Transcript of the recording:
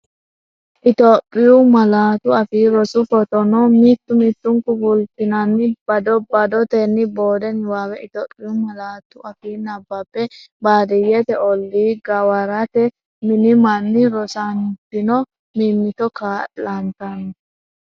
Itophiyu Malaatu Afii Roso foteno, mittu mittunku fultinanni bado badotenni boode niwaawe Itophiyu malaatu afiinni nabbabbe, Baadiyyete ollii gawarete mini manni rosantino mimmito kaa’lantan?